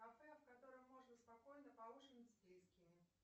кафе в котором можно спокойно поужинать с близкими